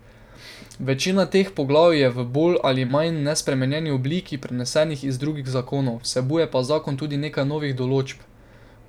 Večina teh poglavij je v bolj ali manj nespremenjeni obliki prenesenih iz drugih zakonov, vsebuje pa zakon tudi nekaj novih določb.